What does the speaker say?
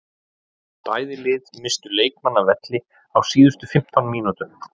Bæði lið misstu leikmann af velli á síðustu fimmtán mínútunum.